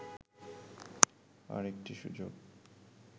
আরেকটি সুযোগ